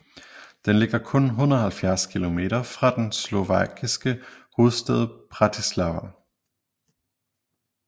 Den ligger kun 170 kilometer fra den slovakiske hovedstad Bratislava